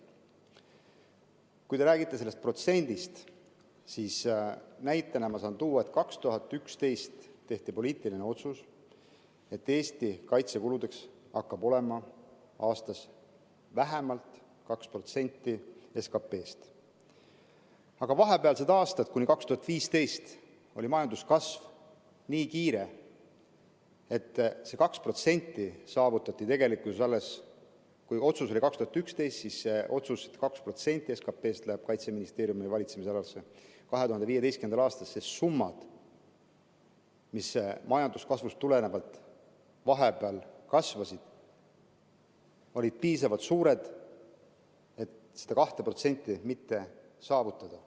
Kui te räägite sellest protsendist, siis näitena saan tuua, et 2011 tehti poliitiline otsus, et Eesti kaitsekulud hakkavad aastas olema vähemalt 2% SKP‑st. Aga vahepealsetel aastatel, kuni 2015, oli majanduskasv nii kiire, et kuigi otsus oli 2011, see otsus, et 2% SKP‑st läheb Kaitseministeeriumi valitsemisalasse, siis 2015. aastal summad, mis majanduskasvust tulenevalt vahepeal olid kasvanud, olid piisavalt suured, et seda 2% mitte saavutada.